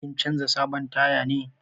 Kin canza sabon taya ne?